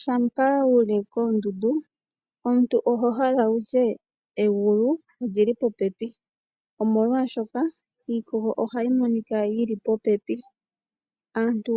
Shampa wu li koondundu, omuntu oho hala wu tye egulu oli li popepi, molwaashoka iikogo ohayi monika yi li popepi. Aantu